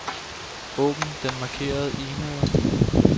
Åbn den markerede e-mail.